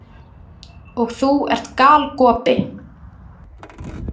Og þú ert galgopi.